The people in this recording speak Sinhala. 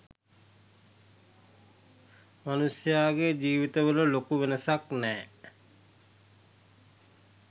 මනුෂ්‍යයාගේ ජීවිතවල ලොකු වෙනසක් නෑ.